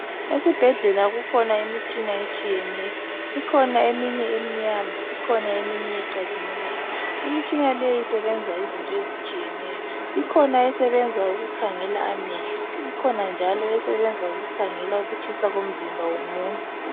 Esibhedlela kukhona imitshina etshiyeneyo ikhona eminye emnyama kukhona eminye ecazimulayo imitshina leyi isebenza izinto ezitshiyeneyo kukhona esebenza ukukhangela amehlo ikhona njalo ekhangela ukutshisa komzimba womuntu